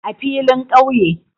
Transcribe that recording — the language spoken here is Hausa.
A filin kauye